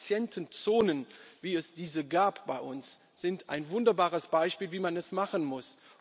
Diese Patientenzonen, wie es sie bei uns gab, sind ein wunderbares Beispiel, wie man es machen muss.